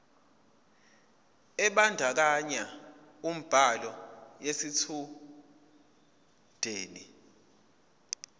ebandakanya ubhaliso yesitshudeni